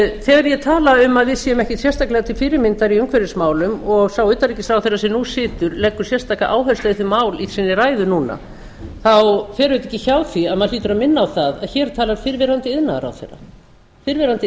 þegar ég tala um að við séum ekkert sérstaklega til fyrirmyndar i umhverfismálum og sá utanríkisráðherra sem nú situr leggur sérstaka áherslu á þessi mál í sinni ræðu núna fer auðvitað ekki hjá því að maður hlýtur að minna á það að hér talar fyrrverandi